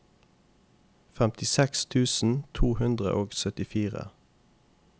femtiseks tusen to hundre og syttifire